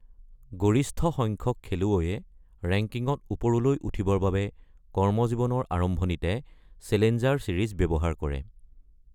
গৰিষ্ঠসংখ্যক খেলুৱৈয়ে ৰেংকিঙত ওপৰলৈ উঠিবৰ বাবে কৰ্মজীৱনৰ আৰম্ভণিতে চেলেঞ্জাৰ ছিৰিজ ব্যৱহাৰ কৰে।